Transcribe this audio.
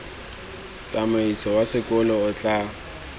tsamaiso wa sekolo o tla